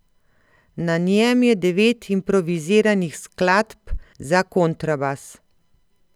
Na njem je devet improviziranih skladb za kontrabas.